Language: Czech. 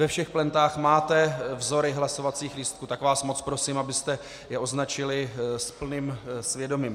Ve všech plentách máte vzory hlasovacích lístků, tak vás moc prosím, abyste je označili s plným svědomím.